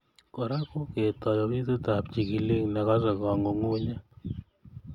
Kora ko ketoi ofisitap chigilik nekosei kangungunyet